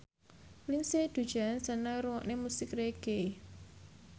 Lindsay Ducan seneng ngrungokne musik reggae